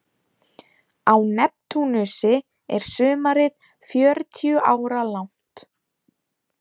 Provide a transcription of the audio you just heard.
Á Neptúnusi er sumarið fjörutíu ára langt.